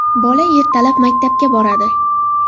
Bola ertalab maktabga boradi.